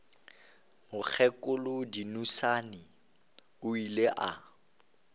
mokgekolo dunusani o ile a